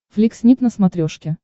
флик снип на смотрешке